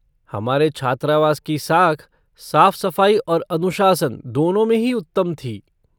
हमारे छात्रावास की साख साफ़ सफ़ाई और अनुशासन, दोनों में ही उत्तम थी।